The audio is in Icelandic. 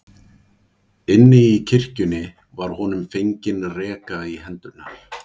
Inni í kirkjunni var honum fengin reka í hendurnar.